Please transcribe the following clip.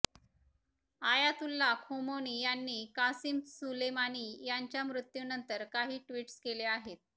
Ayatollah Khomeini यांनी Qasim Soleimani यांच्या मृत्यूनंतर काही ट्विटस केले आहेत